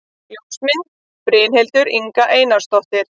Ljósmynd: Brynhildur Inga Einarsdóttir